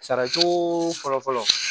Saracogo fɔlɔfɔlɔ